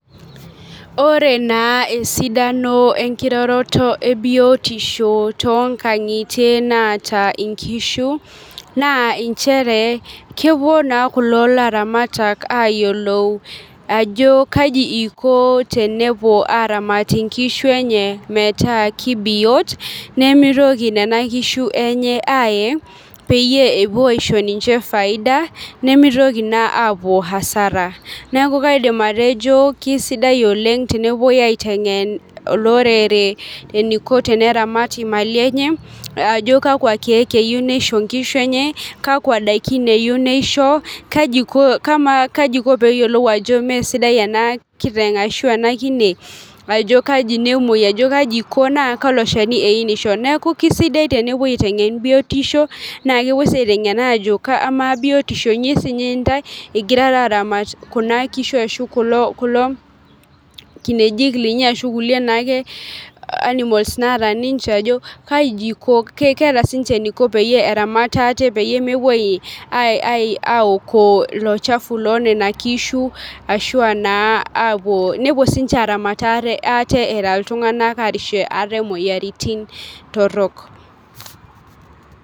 Ore naa esidano enkiroroto ebiotisho toonkang'itie naata nkishu naa nchere kepuo naa kulo laramatak aayilou ajo kaji iko tenepuo aaramat nkishu enye metaa kibiot nemitoki nena kishu enye aaye peyie epuo aisho ninche faida nemitoki naa aapuo hasara neeku kaidim atejo kesidai oleng' tenepuoi ateng'en olorere eniko teneramat imali enye ajo kakwa keek eyieu nisho nkishu enye kakwa daikin eyieu nisho kaji iko pee eyiolou ajo meesidao ena kiteng' ashu ena kine ajo kaji nemuoi ashu kaji iko naa kalo shani eyieu nisho neeku kesidai tenepuoi aiteng'en biotosho naa kepuoi sii aiteng'en ajo kamaa biotisho